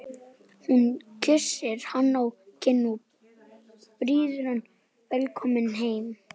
Hún kyssir hann á kinn og býður hann velkominn heim.